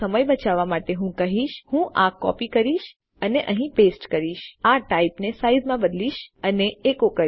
તો સમય બચાવવા માટે હું શું કરીશ હું આ કોડ કોપી કરીશ અહીં પેસ્ટ કરીશ અને આ ટાઇપ ને સાઈઝ માં બદલીશ અને તે એકો કરીશ